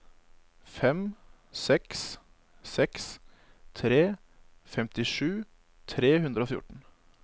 fem seks seks tre femtisju tre hundre og fjorten